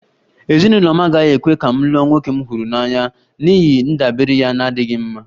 Ezinụlọ m agaghị ekwe ka m lụọ nwoke m họọrọ n'ihi ndabere ya na-adịghị mma